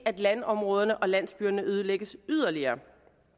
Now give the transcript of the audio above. at landområderne og landsbyerne nedlægges yderligere